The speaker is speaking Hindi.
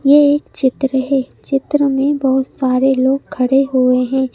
ये एक चित्र है चित्र मे बहुत सारे लोग खडे हुए है।